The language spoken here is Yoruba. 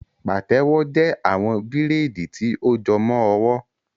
Pàtẹ́wo jẹ́ àwọn bíraidi ti ó jọmọ ọwọ